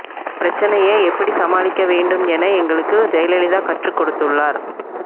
பிரச்னையை எப்படி சமாளிக்க வேண்டும் என எங்களுக்கு ஜெயலலிதா கற்றுக் கொடுத்துள்ளார்